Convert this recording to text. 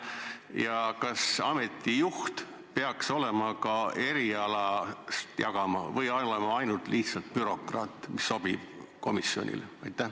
Ja kas ameti juht peaks erialast ka midagi jagama või peab ta olema lihtsalt bürokraat, kes sobib komisjonile?